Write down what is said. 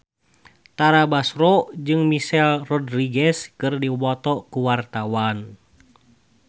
Tara Basro jeung Michelle Rodriguez keur dipoto ku wartawan